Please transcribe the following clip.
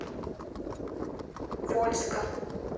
вольска